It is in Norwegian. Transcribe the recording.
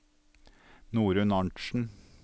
Norunn Arntsen